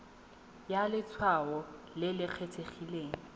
ya letshwao le le kgethegileng